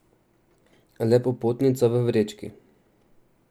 Le popotnica v vrečki.